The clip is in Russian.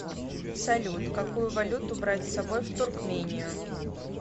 салют какую валюту брать с собой в туркмению